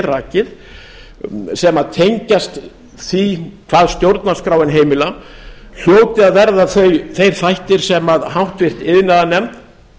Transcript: rakið sem tengjast því hvað stjórnarskráin heimilar hljóti að verða þeir þættir sem háttvirtur iðnaðarnefnd